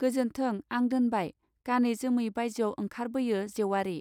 गोजोन्थों आं दोनबाय गानै जोमै बायजोआव ओंखर बोयो जेउवारि.